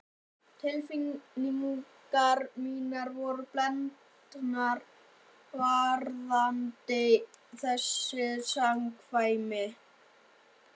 Tilfinningar mínar voru blendnar varðandi þessi samkvæmi.